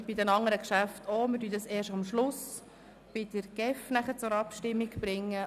Wie bei den anderen Geschäften werden wir dieses erst am Schluss bei den Geschäften der GEF zur Abstimmung bringen.